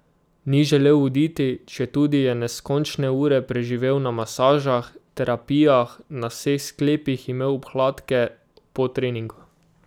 Ni želel oditi, četudi je neskončne ure preživel na masažah, terapijah, na vseh sklepih imel obkladke po treningu.